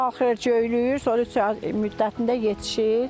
Qalxır, göylüyür, sonra üç ay müddətində yetişir.